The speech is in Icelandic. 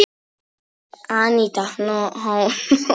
Aníta Hólm.